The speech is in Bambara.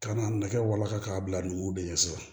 Ka n'a nɛgɛ walankata k'a bila numuw de ɲɛsin wa